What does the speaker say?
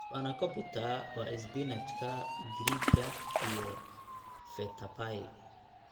Spanakopita waa isbinaajka Giriigga iyo feta pie.